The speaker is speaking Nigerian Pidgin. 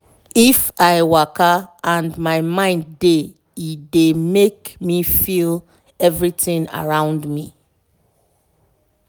if i waka and my mind dey e dey make me feel everything around me